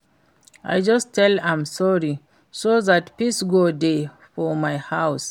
I just tell am sorry so dat peace go dey for my house